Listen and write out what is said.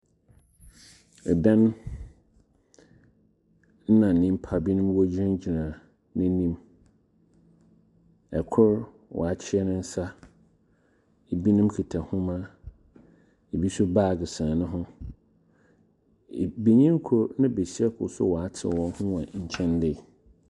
Ɛdan ɛna nipa bi mo egyina gyina ɛnim. ɛkor w'akyia nensa. Ebi nom kuta nwoma, ebi nso bag sɛn ne ho. Benyin koro na besia koro nso w'ate wɔn ho wɔ nkyɛn dei.